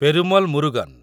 Perumal Murugan